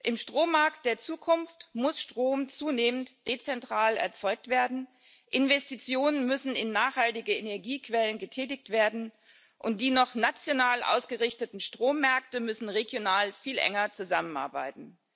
Im Strommarkt der Zukunft muss Strom zunehmend dezentral erzeugt werden, Investitionen müssen in nachhaltige Energiequellen getätigt werden, und die noch national ausgerichteten Strommärkte müssen regional viel enger zusammenarbeiten.